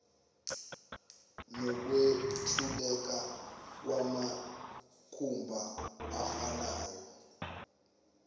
nokwentuleka kwamathuba afanayo